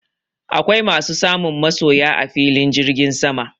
Akwai masu samun masoya a filin jirgin sama